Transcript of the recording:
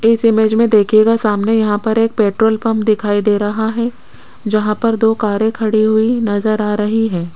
इस इमेज में देखिएगा सामने यहां पर एक पेट्रोल पंप दिखाई दे रहा है जहां पर दो कारे खड़ी हुई नजर आ रही है।